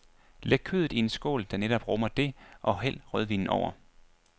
Læg kødet i en skål der netop rummer det og hæld rødvinen over.